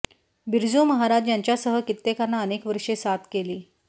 बिरजू महाराज यांच्यासह कित्येकांना अनेक वर्षे साथ केली